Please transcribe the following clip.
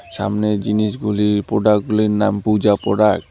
সামনের জিনিসগুলির প্রোডাক -গুলির নাম পুজা পোডাক ।